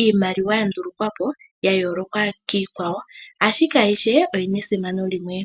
iimaliwa ya ndulukwa po ,ya yooloka kiikwawo . Ashike ayihe oyina esimano limwe.